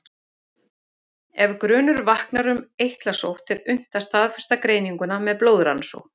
Ef grunur vaknar um eitlasótt er unnt að staðfesta greininguna með blóðrannsókn.